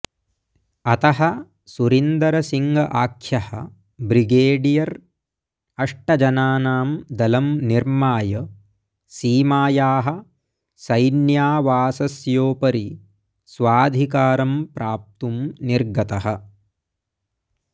अतः सुरिन्दर सिङ्ग आख्यः ब्रिगेडियर् अष्टजनानां दलं निर्माय सीमायाः सैन्यावासस्योपरि स्वाधिकारं प्राप्तुं निर्गतः